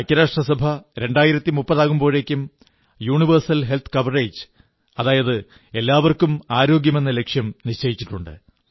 ഐക്യരാഷ്ട്രസഭ 2030 ആകുമ്പോഴേക്കും universal health coverage അതായത് എല്ലാവർക്കും ആരോഗ്യമെന്ന ലക്ഷ്യം നിശ്ചയിച്ചിട്ടുണ്ട്